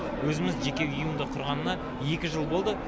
өзіміз жеке ұйымды құрғанына екі жыл болды